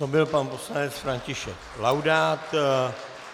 To byl pan poslanec František Laudát.